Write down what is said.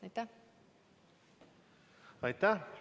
Aitäh!